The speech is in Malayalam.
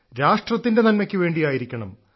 രാഷ്ട്രത്തിന്റെ നന്മയ്ക്കു വേണ്ടിയായിരിക്കണം